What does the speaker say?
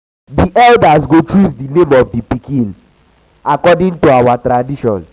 di elders go choose di name of di pikin according to our tradition.